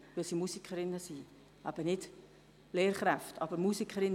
Das muss ich einfach sagen.